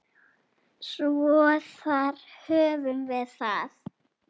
Svo þar höfum við það.